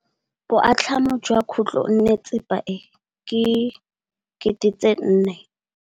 Boatlhamô jwa khutlonnetsepa e, ke 400.